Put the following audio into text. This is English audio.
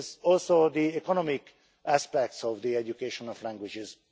But it is also the economic aspects of the education of languages.